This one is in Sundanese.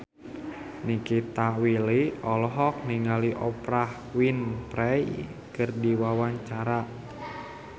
Nikita Willy olohok ningali Oprah Winfrey keur diwawancara